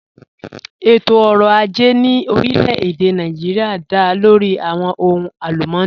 Ẹ̀tọ̀-ọ̀rọ̀ àjẹ̀ ní orílẹ̀-èdè Nàìjíríà dá lórí awọn ọ̀hùn alùmọ́nì